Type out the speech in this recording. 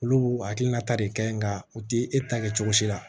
Olu b'u hakilina ta de kɛ nka u ti e ta kɛ cogo si la